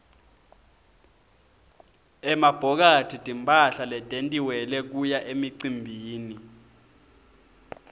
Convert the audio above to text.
emabhokathi timphahla letentiwele kuya emicimbini